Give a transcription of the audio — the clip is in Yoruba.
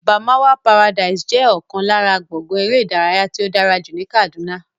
Barmawa paradise jẹ́ ọ̀kan lára gbọ̀ngán eré ìdárayá tí ó dára jù ní Kàdúná